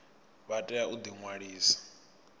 vha tea u ḓi ṅwalisa